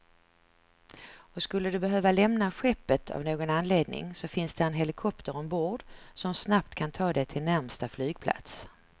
Och skulle du behöva lämna skeppet av någon anledning så finns där en helikopter ombord, som snabbt kan ta dig till närmsta flygplats.